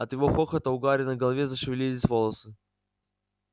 от его хохота у гарри на голове зашевелились волосы